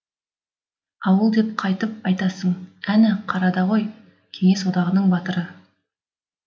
ауыл деп қайтіп айтасың әні қарада ғой кеңес одағының батыры